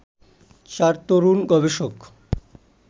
চার তরুণ গবেষক